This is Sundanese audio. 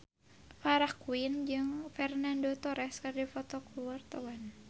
Farah Quinn jeung Fernando Torres keur dipoto ku wartawan